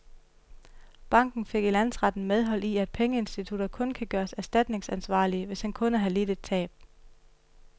Banken fik i landsretten medhold i, at pengeinstitutter kun kan gøres erstatningsansvarlige, hvis en kunde har lidt et tab.